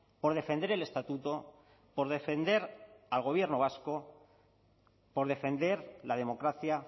por defender el estatuto por defender al gobierno vasco por defender la democracia